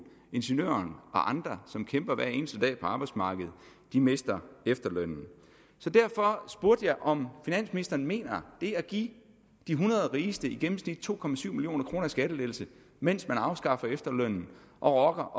ingeniøren og andre som kæmper hver eneste dag på arbejdsmarkedet mister efterlønnen så derfor spurgte jeg om finansministeren mener det at give de hundrede rigeste i gennemsnit to million kroner i skattelettelser mens man afskaffer efterlønnen og